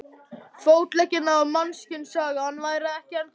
Fótleggina ef mannkynssagan væri ekki ennþá búin.